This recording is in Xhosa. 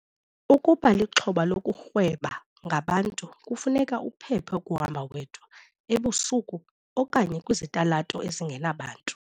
Ukuba lixhoba lokurhweba ngabantu kufuneka uphephe ukuhamba wedwa, ebusuku, okanye kwizitalato ezingenabantu.